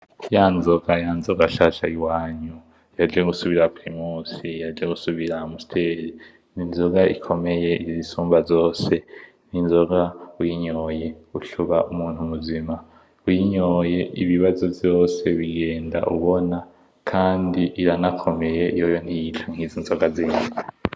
Ya nzoga, ya nzoga nshasha yiwanyu yaje gusubirira Primus, yaje gusubirira Amstel. N'inzoga ikomeye izisumba zose. N'inzoga uyinyoye ucuba umuntu muzima, uyinyoye ibibazo vyose bigenda ubona, kandi iranakomeye yoyo ntiyica nkizi nzoga zindi.